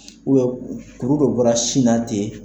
kuru dɔ bɔra sin na ten.